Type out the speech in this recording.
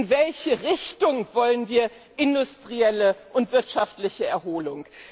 In welche Richtung wollen wir industrielle und wirtschaftliche Erholung?